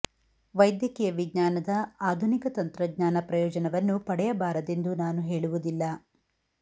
ವೈದ್ಯಕೀಯ ವಿಜ್ಞಾನದ ಆಧುನಿಕ ತಂತ್ರಜ್ಞಾನ ಪ್ರಯೋಜನವನ್ನು ಪಡೆಯ ಬಾರದೆಂದು ನಾನು ಹೇಳುವುದಿಲ್ಲ